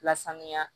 Lasanuya